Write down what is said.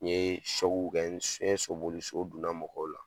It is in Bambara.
N ɲe kɛ n ɲe sobili so donna mɔgɔw la